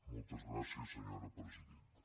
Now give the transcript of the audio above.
moltes gràcies senyora presidenta